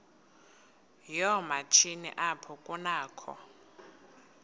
yoomatshini apho kunakho